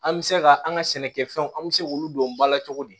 An bɛ se ka an ka sɛnɛkɛfɛnw an bɛ se k'olu don ba la cogo di